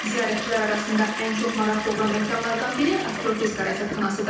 Ziyarətçilər arasında ən çox maraq doğuran məkanlardan biri astrofizika rəsədxanasıdır.